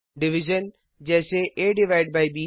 Division जैसे aब